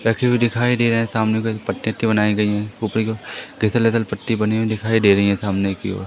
रखी हुई दिखाई दे रहे है सामने दो पट्टी ओट्टी बनाई गयी है ऊपर की ओर ऐसा लगा पट्टी बनी हुई दिखाई दे रहीं है सामने की ओर --